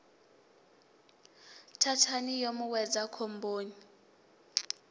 thathani yo mu wedza khomboni